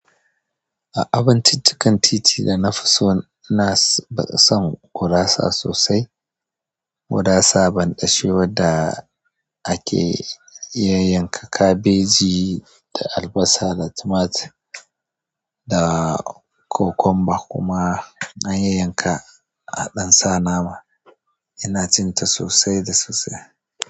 A abinciccikan titi dana fi so, ina ba sa son gurasa sosai. Gurasa banɗashe wadda ake yayyanka kabeji da albasa da tumatir da cucumber kuma an yayyanka a ɗansa nama. Ina cin ta sosai da sosai.